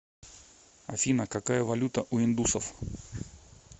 афина какая валюта у индусов